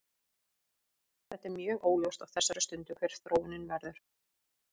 Þetta er mjög óljóst á þessari stundu hver þróunin verður.